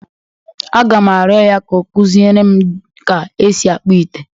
Aga m arịọ ya ka ọ kụziere m ja e sị akpụ ite.